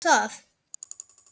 Haukur: Tekurðu undir það?